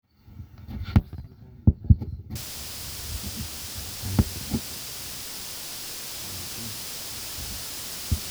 ore inkera naata naa kemodook ,ming'antak naa menin' emion.